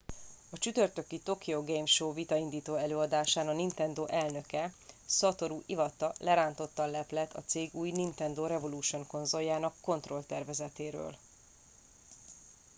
a csütörtöki a tokyo game show vitaindító előadásán a nintendo elnöke satoru iwata lerántotta a leplet a cég új nintendo revolution konzoljának kontrollertervezetéről